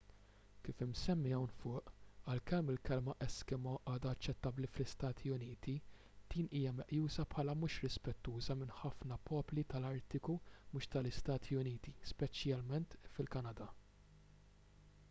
kif imsemmi hawn fuq għalkemm il-kelma eskimo għadha aċċettabbli fl-istati uniti din hija meqjusa bħala mhux rispettuża minn ħafna popli tal-artiku mhux tal-istati uniti speċjalment fil-kanada